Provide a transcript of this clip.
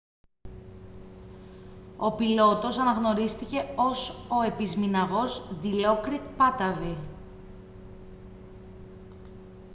ο πιλότος αναγνωρίστηκε ως ο επισμηναγός ντιλόκριτ πάτταβι